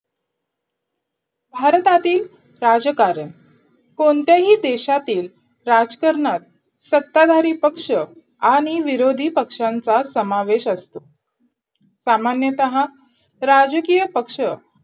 भारतातील राजकारण कोणत्याही देशातील राजकारणात सत्ताधारी पक्ष आणि विरोधी पक्षांचा समावेश असतो सामान्यतः राजकीय पक्ष